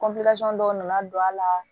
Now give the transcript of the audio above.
dɔw nana don a la